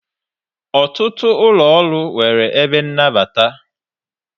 Ọtụtụ ụlọ ọrụ nwere ebe nnabata.